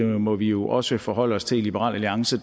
må vi jo også forholde os til i liberal alliance